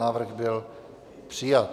Návrh byl přijat.